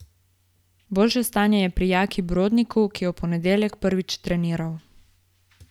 Boljše stanje je pri Jaki Brodniku, ki je v ponedeljek prvič treniral.